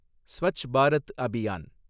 Swachh Bharat Abhiyan